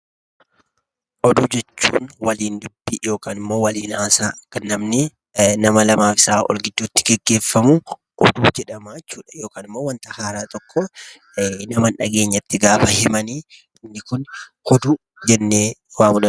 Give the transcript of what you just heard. Oduu jechuun waliin dubbii yookaan immoo waliin haasaa nama lamaaf isaa ol gidduutti gaggeeffamu oduu jedhama jechuudha. Yookaan immoo waanta haaraa tokko nama hin dhageenyetti gaafa himan inni kun oduu jennee waamuu dandeenya.